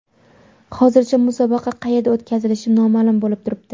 Hozircha musobaqa qayerda o‘tkazilishi noma’lum bo‘lib turibdi.